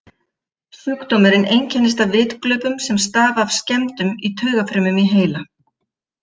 Sjúkdómurinn einkennist af vitglöpum sem stafa af skemmdum í taugafrumum í heila.